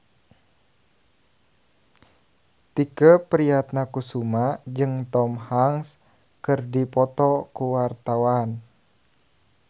Tike Priatnakusuma jeung Tom Hanks keur dipoto ku wartawan